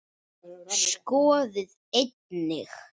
Skoðið einnig